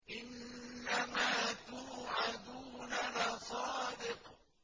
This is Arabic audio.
إِنَّمَا تُوعَدُونَ لَصَادِقٌ